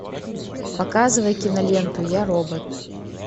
показывай киноленту я робот